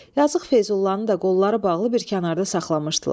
Yazıq Feyzullanı da qolları bağlı bir kənarda saxlamışdılar.